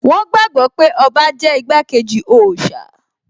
Wón gbàgbọ́ pé ọba jẹ́ igbákejì òòṣà